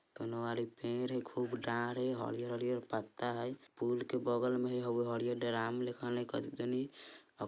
कउनो आर एक पेर है खूब डार है हरे- हरे आर पत्ता है पूल के बगल में हरे आर ड्राम --